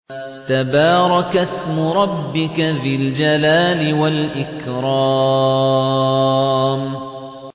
تَبَارَكَ اسْمُ رَبِّكَ ذِي الْجَلَالِ وَالْإِكْرَامِ